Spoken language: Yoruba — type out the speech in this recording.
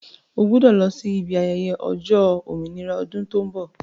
Ó gbọ́dọ̀ lọ sí ibi ayẹyẹ ọjọ́ òmìnira ọdún tó ń bọ̀